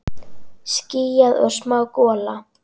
Skýjað og smá gola.